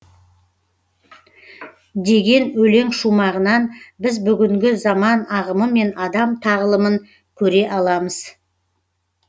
деген өлең шумағынан біз бүгінгі заман ағымы мен адам тағылымын көре аламыз